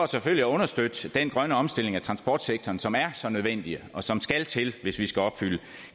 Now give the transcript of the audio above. selvfølgelig at understøtte den grønne omstilling af transportsektoren som er så nødvendig og som skal til hvis vi skal opfylde